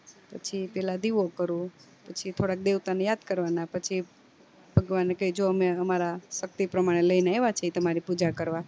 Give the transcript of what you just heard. પછી પેલા દીવો કરું પછી થોડાક દેવતા ને યાદ કરવા ના પછી ભગવાન ને કય જો અમે અમારા ભક્તિ પ્રમાણે લઈને આવ્યા છીએ તમારી પૂજા કરવા